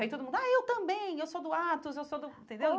Aí todo mundo, ah, eu também, eu sou do Atos, eu sou do... Entendeu?